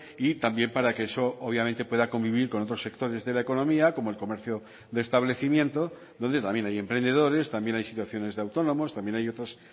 y también para que eso obviamente pueda convivir con otros sectores de la economía como el comercio de establecimiento donde también hay emprendedores también hay situaciones de autónomos también hay otras